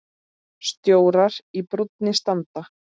Stjórar í brúnni standa.